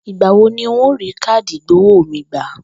Ìgbà wo ni n óò rí káàdì ìgbowó mi gbà?